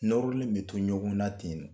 Nɔrɔlen be to ɲɔgɔnna ten nɔ